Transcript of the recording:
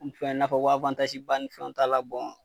K'u fɛn, i n'a fɔ ko ba ni fɛnw t'a la